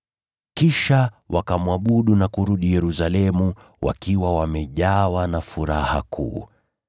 Kisha wakamwabudu na kurudi Yerusalemu wakiwa wamejawa na furaha kuu.